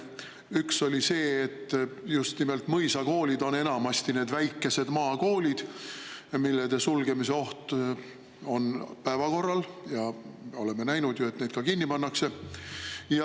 Üks oli see, et just nimelt mõisakoolid on enamasti need väikesed maakoolid, mille sulgemise oht on päevakorral, ja oleme näinud ju, et neid ka kinni pannakse.